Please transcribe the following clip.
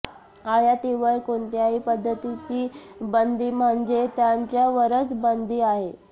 आयातीवर कोणत्याही पद्धतीची बंदी म्हणजे त्यांच्यावरच बंदी आहे